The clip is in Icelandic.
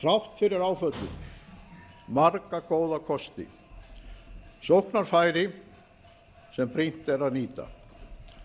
þrátt fyrir áföllin marga góða kosti sóknarfæri sem brýnt er að nýta